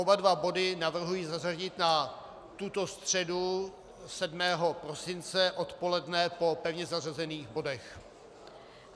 Oba dva body navrhuji zařadit na tuto středu 7. prosince odpoledne po pevně zařazených bodech.